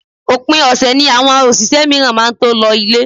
Òpin ọ̀sẹ̀ ni àwọn òṣìṣẹ́ mìíràn máa tó ń lọ ile